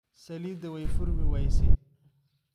Salidha way furmiweyse.